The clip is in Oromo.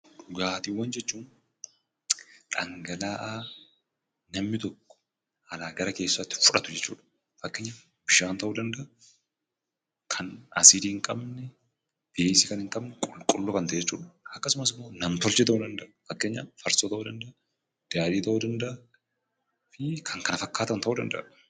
Dhugaatiiwwan jechuun dhangala'aa namni tokko alaa gara keessatti fudhatu jechuu dha. Fakkeenyaaf bishaan ta'uu danda'a, akkasumas asiidii kan hin qabne, beezii kan hin qabne qulqulluu kan ta'e jechuu dha. Akkasumas immoo nam tolchee ta'uu danda'a. Fakkeenyaaf farsoo ta'uu danda'a, daadhiis ta'uu danda'a fi kan kana fakkaatan ta'uu danda'a.